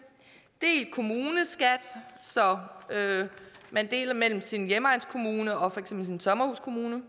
delt kommuneskat så man deler mellem sin hjemegnskommune og for eksempel sin sommerhuskommune